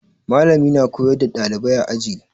Mallami na koyar da ɗalibai a aji.